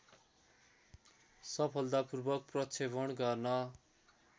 सफलतापूर्वक प्रक्षेपण गर्न